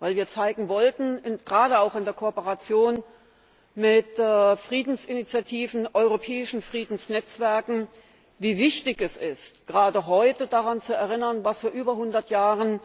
Denn wir wollten zeigen, gerade auch in der Kooperation mit Friedensinitiativen und europäischen Friedensnetzwerken, wie wichtig es ist, gerade heute daran zu erinnern, was vor über 100 Jahren